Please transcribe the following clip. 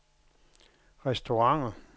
restauranter